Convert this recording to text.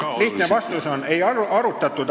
Lihtne vastus on: ei arutatud.